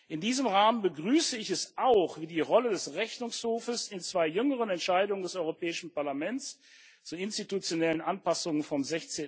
In diesem Rahmen begrüße ich es auch, wie die Rolle des Rechnungshofs in zwei jüngeren Entscheidungen des Europäischen Parlaments zu institutionellen Anpassungen vom